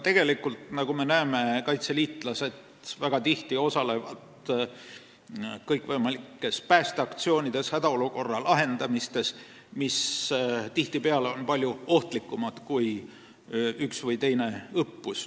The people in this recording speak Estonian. Tegelikult osalevad kaitseliitlased tihti kõikvõimalikes päästeaktsioonides, hädaolukordade lahendamises, mis tihtipeale on palju ohtlikumad kui üks või teine õppus.